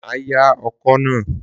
Má ya ọkọ na